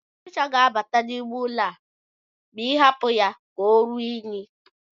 Ọchịcha ga-abata n'ime ụlọ a ma ị hapụ ya ka oruo unyi